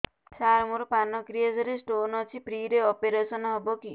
ସାର ମୋର ପାନକ୍ରିଆସ ରେ ସ୍ଟୋନ ଅଛି ଫ୍ରି ରେ ଅପେରସନ ହେବ କି